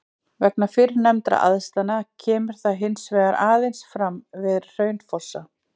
Vegna fyrrnefndra aðstæðna kemur það hins vegar aðeins fram við Hraunfossa.